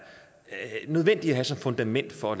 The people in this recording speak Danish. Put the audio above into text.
nødvendig at have som fundament for at